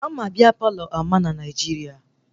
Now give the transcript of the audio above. Ama Bia Palọ ama na Naijiria